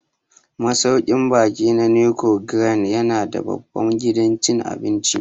Masauƙin baƙi na Nicon Grand ya na da babban gidan cin abinci